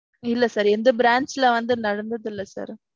இல்ல sir எங்க branch ல வந்து நடந்ததில்ல sir.